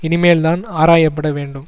இனிமேல்தான் ஆராயப்பட வேண்டும்